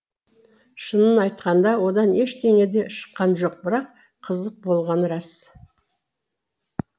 шынын айтқанда одан ештеңе де шыққан жоқ бірақ қызық болғаны рас